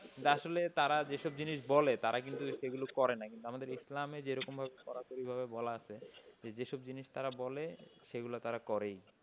আসলে তারা এসব জিনিস বলে তারা কিন্তু সেগুলো করে না। কিন্তু আমাদের ইসলামে যেরকম কড়াকড়ি ভাবে কোন কিছু বলার, সেসব জিনিস তারা বলে সেগুলি তারা করেই।